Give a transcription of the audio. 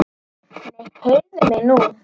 Nei, heyrðu mig nú!